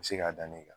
U bɛ se k'a da ne kan